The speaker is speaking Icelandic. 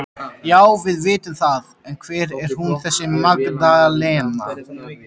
Já, við vitum það en hver er hún þessi Magdalena?